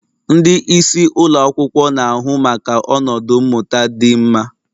Ndị isi ụlọ akwụkwọ na-ahụ maka ọnọdụ mmụta dị mma